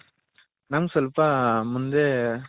ನಮ್ಮಗೆ ಸ್ವಲ್ಪ ಮುಂದೆ